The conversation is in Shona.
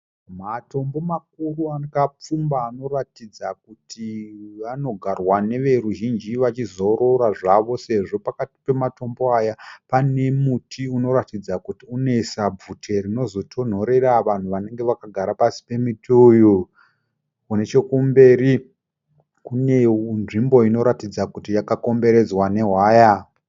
Matombo makuru akapfumba anoratidza kuti anogarwa neveruzhinji vachizorora zvavo sezvo pakati pematombo aya pane muti unoratidza kuti unoisa bvute rinozotonhorera vanhu vanenge vakagara pasi pemuti uyu. Nechekumberi kune nzvimbo inoratidza kuti yakakomberedzwa nehwaya.